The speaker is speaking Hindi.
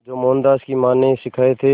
जो मोहनदास की मां ने सिखाए थे